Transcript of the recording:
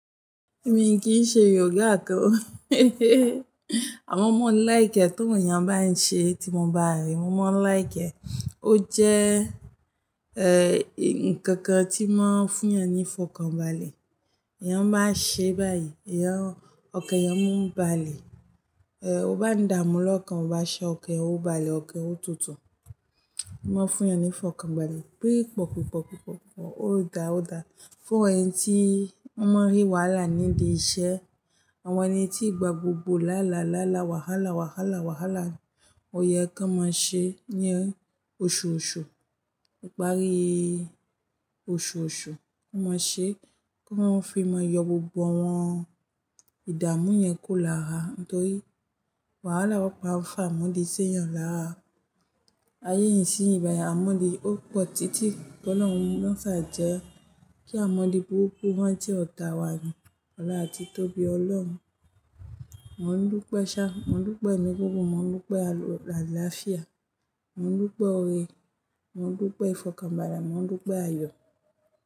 Èmi kì í ṣe yoga kan o. Àmọ́ mo ń like ẹ́ tó ìyàn bá ń ṣe tí mo bá rí i, mo máa ń like ẹ́. Ó jẹ́, eh, nkankan tí máa ń fún eyan ni f'ọkànbalẹ̀. Eyàn bá n ṣe báyìí, ọkàn ẹ̀yàn mú ń balẹ̀. Eh, o bá ní ìdàmú lọ́kàn, o bá ṣe ọkàn ẹ ó balẹ̀, ọkàn ẹ ó tutù. N máa ń fún ẹeyan ìfọkànbalẹ̀. Bí pọ̀pọ̀pọ̀pọ̀pọ̀, ó dá ó dá fún èmi tí ó máa rí wàhálà ní ìdí iṣẹ́, àwọn ẹni tí ìgbà gbogbo làálá làálá wàhálà wàhálà wàhálà ni, òye kan máa ṣe ní oṣooṣù ní ìparí oṣooṣù kan máa ṣe kan máa fi máa yọ gbogbo àwọn ìdààmú yẹn kúrò lára nítorí wàhálà máa fa àmúlè sí èèyàn lára. Ayé ìsinyi báyìí àmúlè ò po n titi, kí Ọlọ́run mo sáà jẹ́ kí àmúlè buruke rántí ọ̀tá wa ní wọlà títóbi Ọlọ́run, mo n dúpẹ́ sá, mo n dúpẹ́ ẹ̀mí gungun mo n dúpẹ́ àláàfíà, mo n dúpẹ́ ọ̀rẹ́, mo n dúpẹ́ ìfọkànbalẹ̀, mo n dúpẹ́ ayọ̀.